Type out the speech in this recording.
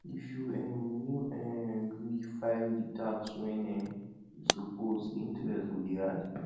if you um no um gree file di tax when um you suppose di interest go dey add